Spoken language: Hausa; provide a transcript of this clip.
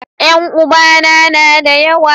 yan uba na na da yawa